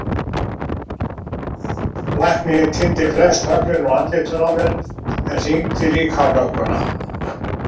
Læknirinn tíndi flest höglin úr andlitinu á mér en hringdi líka á lögguna.